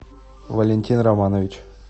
валентин романович